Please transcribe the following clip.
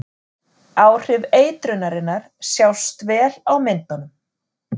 Áhrif eitrunarinnar sjást vel á myndunum.